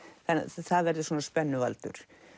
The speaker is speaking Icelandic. það verður svona